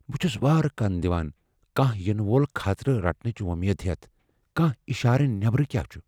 بہٕ چُھس وارٕ كَن دِوان ،كانہہ یِنہٕ وول خطرٕ رٹنٕچ وۄمید ہیٚتھ، كانٛہہ اِشارٕ نیبرٕ كیاہ چُھ۔